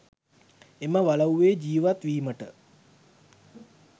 එම වලව්වේ ජීවත් වීමට